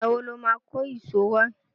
Ìgbà wo lo máa kó ìṣó wá?